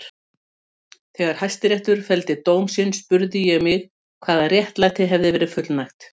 Þegar Hæstiréttur felldi dóm sinn spurði ég mig hvaða réttlæti hefði verið fullnægt.